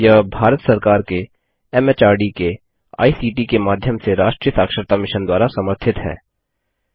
यह भारत सरकार के एमएचआरडी के आईसीटी के माध्यम से राष्ट्रीय साक्षरता मिशन द्वारा समर्थित है